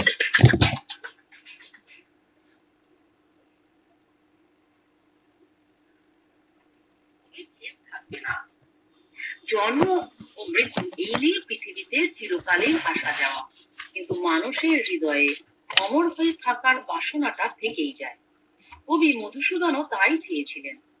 থাকবেনা জন্ম ও মৃত্যু এই নিয়ে প্রথিবীতে চিরকালীন আসা যাওয়া কিন্তু মানুষের হৃদয়ে অমর হয়ে থাকার বাসনা তা থেকেই যায় কবি মধুসুধন ওতাই চেয়েছিলেন